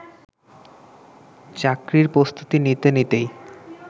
চাকরির প্রস্তুতি নিতে নিতেই